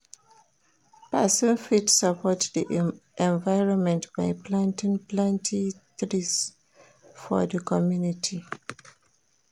Perosn fit support di environment by planting plenty trees for di community